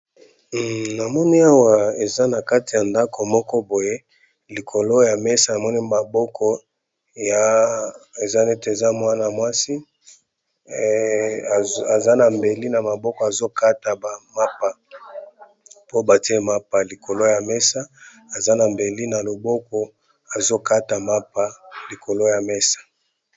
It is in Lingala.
Namoni awa eza na kati ya ndaku moko boye, na kati ya ndaku yango tomoni loboko ya ndeko mwasi azali kokata lipa